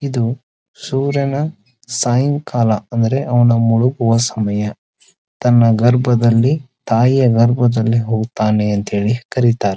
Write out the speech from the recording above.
ಇದು ಸೂರ್ಯನ ಸಾಯಂಕಾಲ ಅಂದರೆ ಅವನ ಮುಳುಗುವ ಸಮಯ ತನ್ನ ಗರ್ಭದಲ್ಲಿ ತಾಯಿಯ ಗರ್ಭದಲ್ಲಿ ಹೋಗುತ್ತಾನೆ ಅಂತ ಹೇಳಿ ಕರೀತಾರೆ.